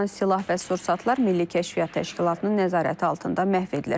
Alınan silah və sursatlar Milli Kəşfiyyat Təşkilatının nəzarəti altında məhv edilir.